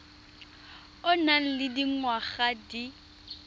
o nang le dingwaga di